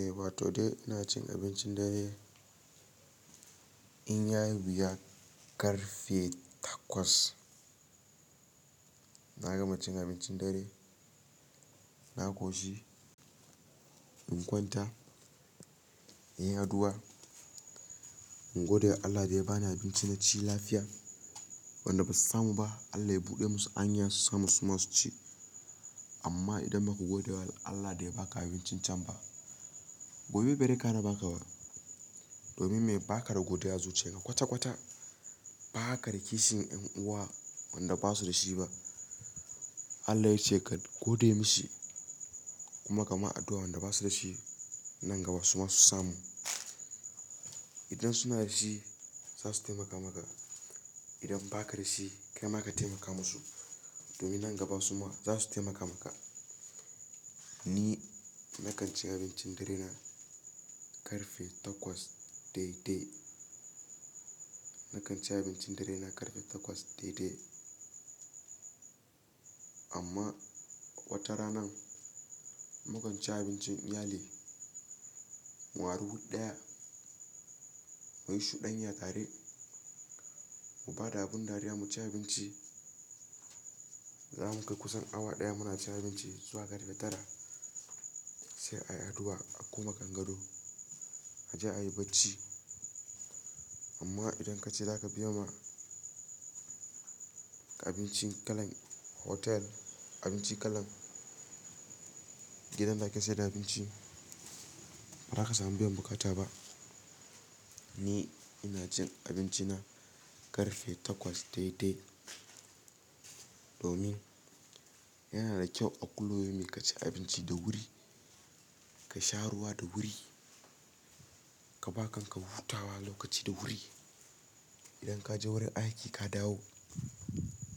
Eh wato dai ina cin abincin dare. In yayi wuya karfe takwas. Na gama cin abincin dare na koshi in kwanta inyi addua in godewa Allah da ya bani abinci naci wanda basu samu ba Allah ya buɗe musu anya su samu su ma su ci. Amma idan ba ku godewa Allah da ya ba ka abincin can ba, gobe bai re kara ba ka ba. Domin me ba ka da godiya a zuciyanka kwata-kwata. Ba ka da kishin 'yan uwa wanda ba su da shi ba. Allah yace ka gode masa kuma ka ma addu'a wanda ba su da shi nan gaba su ma su samu. Idan suna da shi za su taimaka maka. Idan ba ka da shi kai ma ka taimaka musu domin nan gaba su ma za su taimaka maka. Ni na kan ci abincin dare na karfe takwas daidai. Na kan ci abincin dare na karfe takwas daidai. Amma wata ranan mu kan ci abincin iyali, mu ari wu ɗaya, mu yi shuɗanya tare, mu ba da abun dariya mu ci abinci. Za mu kai kusan awa ɗaya muna cin abinci zuwa karfe tara sai a yi addu'a a koma kangado, a je a yi bacci. Amma idan ka ce za ka biya ma abinci kalan hotel, abinci kalan gidan da ake sayar da abinci, ba za ka samu biyan buƙata ba. Ni ina cin abinci na karfe takwas daidai. Domin yana da kyau a kulli yaumi ka ci abinci da wuri, ka sha ruwa da wuri, ka ba kan ka hutawa lokaci da wuri. Idan ka je wurin aiki ka dawo,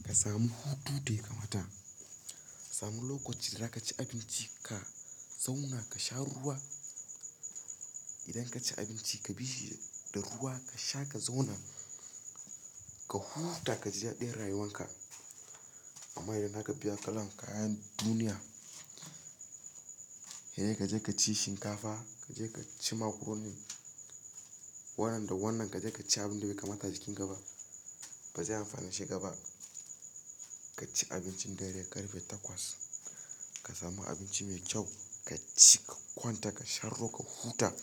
ka samu hutu da ya kamata. Samu lokaci da za ka ci abinci ka zauna ka sha ruwa. Idan ka ci abinci ka bi shi da ruwa ka sha ka zauna, ka huta ka ji daɗin rayuwanka. Amma idan za ka biya kalan kayan duniya, hede ka je ka ci shinkafa, ka je ka ci macaroni, wadan da wannan ka je ka ci abin da bai kamata jikin ka ba, ba zai amfanar shi gaba. Ka ci abincin dare karfe takwas. Ka samu abinci mai kyau ka ci ka kwanta ka sha ruwa ka huta.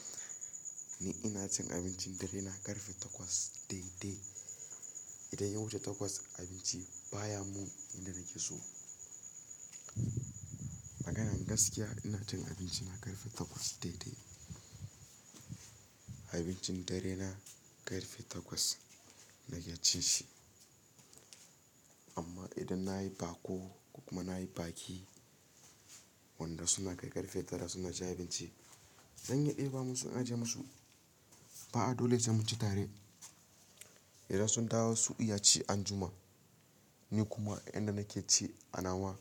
Ni ina cin abincin dare na karfe takwas daidai. Idan ya wuce takwas abinci baya mun inda nake so. Maganan gaskiya ina cin abinci na karfe takwas daidai. Abincin dare na karfe takwas nake cin shi. Amma idan nayi baƙo kuma nayi baƙi wanda suna kai karfe tara suna cin abinci, zan iya ɗeba musu in aje musu. Ba a dole sai mu ci tare. Idan sun dawo su iya ci anjima. Ni kuma inda nake ci anawa.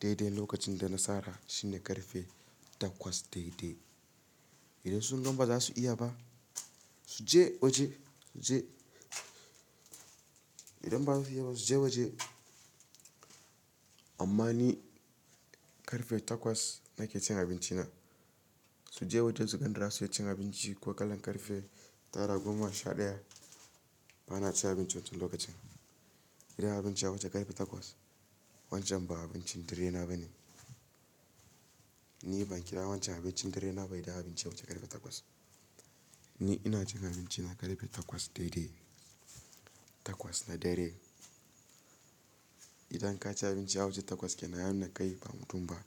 Daidai lokacin da na tsara shine karfe takwas daidai. Idan sunga bazasu iya ba suje waje suje idan bazasu iya ba suje waje amma ni karfe takwas nake cin abinci na. Su je waje su dan in da za su ci abinci ko kalan karfe tara goma sha ɗaya. Ba na cin abinci wancan lokacin. Idan abinci ya wuce karfe takwas wancan ba abincin dare na bane. Ni ban kira wancan abincin dare na ba idan abinci ya wuce karfe takwas. Ni ina cin abinci na karfe takwas daidai. Takwas na dare. Idan ka ci abinci ya wuce takwas ya nuna kenan kai ba mutum ba.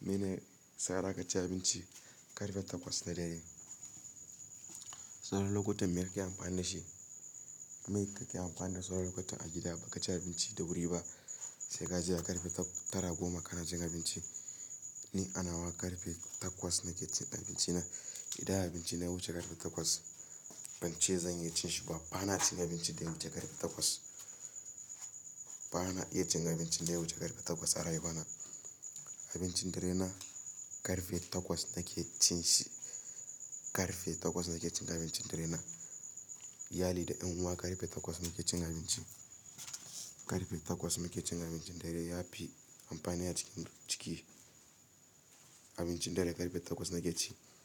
Mene tsara ka ci abinci karfe takwas na dare? Sauran lokutan me kake amfani da shi? Me kake amfani da sauran lokuta a gida ba ka ci abinci da wuri ba? Sai ka je a karfe tara goma kana cin abinci. Ni anawa karfe takwas nake cin abinci na. Idan abinci na ya wuce karfe takwas ban ce zan iya cin shi ba. Ba na cin abinci da ya wuce karfe takwas. Ba na iya cin abinci da ya wuce karfe takwas a rayuwa na. Abincin dare na karfe takwas nake cin shi. Karfe takwas nake cin abincin dare na. Iyali da yan uwa karfe takwas muke cin abinci. Karfe takwas nake cin abincin dare yafi amfani a cikin jiki. Abincin dare karfe takwas nake ci.